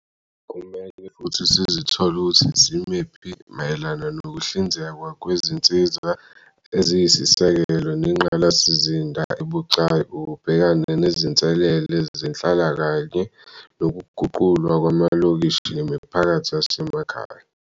Kumele futhi sizithole ukuthi simephi mayelana nokuhlinzekwa kwezinsiza eziyisisekelo nengqalasizinda ebucayi, ukubhekana nezinselele zenhlalo kanye nokuguqulwa kwamalokishi nemiphakathi yasemakhaya.